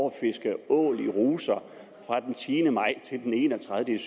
at fiske ål i ruser fra den tiende maj til den enogtredivete